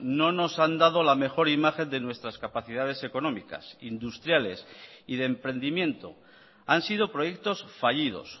no nos han dado la mejor imagen de nuestras capacidades económicas industriales y de emprendimiento han sido proyectos fallidos